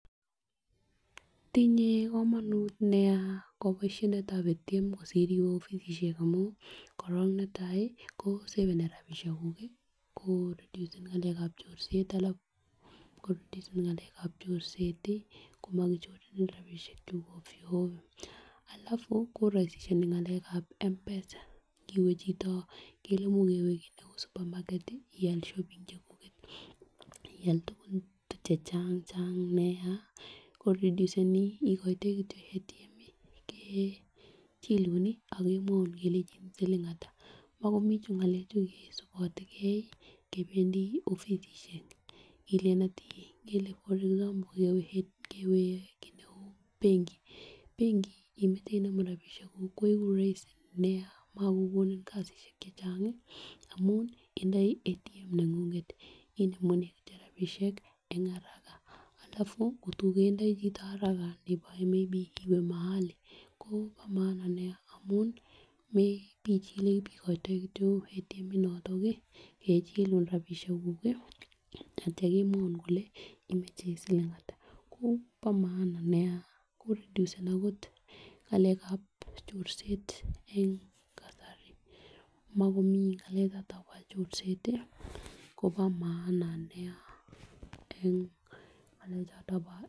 Tinye komonut nia koboishetab ATM kosir iwee offisisiek amun korong netai ko saveni rabishek kuk kii ko reduseni ngalekab chorset alafu koreduseni ngalekab chorset tii komokichorenin rabishek kuk ovyo ovyo alafu koroisishoni ngalekab m-pesa kowee chito ngele imuch kewee kit neu supermarket ial shopping chekuket ak ial tukukln chechang Chang nia koreduseni ikoitoi kityok ATM kechilun nii ak kemwoun kelenjin siling hatak, mokomji ngalek chuu kisibotegee kependii offisisiek ilen hatii ngele for example kewee kii neu benki, benki nimoche icheru rabishek kuk koigu roisi nia mokokonin kasishek chechangi amun indoi ATM nengunget inemunene kityok rabishek en haraka alafu Kotor metindoi chito haraka nebo may be kewee mahali Kobo maana nia amun mepechile ikoitoi kityok ATM inoton nii kechilun rabishek kuk kii ak ityo kemwoun kole imoche siling hatak ko bo maana nia koreduseni okot ngalekab chorset en kasari mokomji ngalek choton bo chorset tii Kobo maana nia en ngelek choton bo.